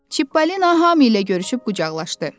Çipolina hamı ilə görüşüb qucaqlaşdı.